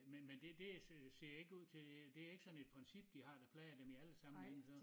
Men men det det ser ikke ud til det ikke sådan et princip de har der plager dem i alle sammen så